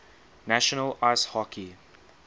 national ice hockey